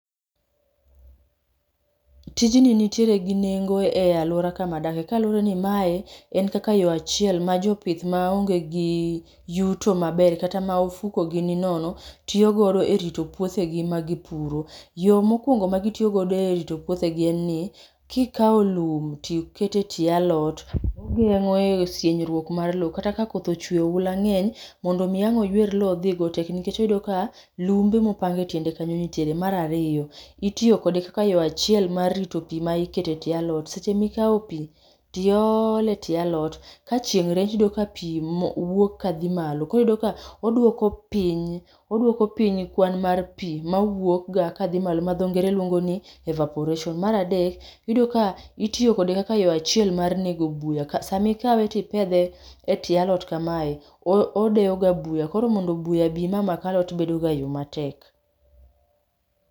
Tijni nitiere gi nengo e alwora kamadake kaluwore ni mae en kaka yo achiel ma jopith ma onge gi yuto maber kata ma ofuko gi ni nono tiyo godo e rito puothegi ma gipuro. Yo mokwongo magitiyogo e rito puothegi en ni kikawo lum tikete tie alot, ogeng'o e sienyruok mar lo. Kata ka koth ochwe oula ng'eny, mondo mi ang' oywer lo odhigo tek nikech oyudo ka lumbe mopang e tiende kanyo nitiere. Marariyo, itiyokode kaka yo achiel mar rito pi ma iketo e tie alot, seche mikao pi tiole tie alot, ka chieng' rieny tiyudo ka pi mo wuok ka dhi malo. Koriyudo ka odwoko piny, odwoko piny kwan mar pi mawuok ga ka dhi malo ma dho ngere luongo ni evaporation. Maradek, iyudo ka itiyokode kaka yo achiel mar nego buya, samikawe tipedhe e tie alot kamae odeyoga buya. Koro mondo buya bi ma mak alot bedo ga matek.